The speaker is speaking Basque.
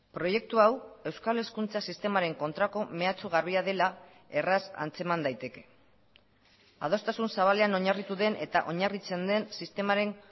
proiektu hau euskal hezkuntza sistemaren kontrako mehatxu garbia dela erraz antzeman daiteke adostasun zabalean oinarritu den eta oinarritzen den sistemaren